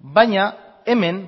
baina hemen